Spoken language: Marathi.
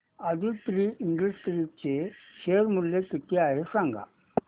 आदित्रि इंडस्ट्रीज चे शेअर मूल्य किती आहे सांगा